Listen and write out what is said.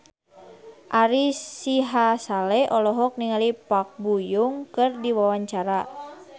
Ari Sihasale olohok ningali Park Bo Yung keur diwawancara